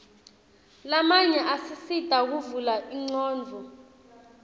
lamanye asisita kuvula ingcondvo